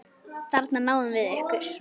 Þarna náðum við ykkur!